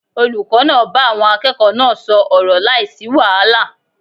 Olùkó náà bá àwon akẹ́ẹ̀kọ̀ọ́ náà sò ọ̀rọ̀ láìsí wàhálà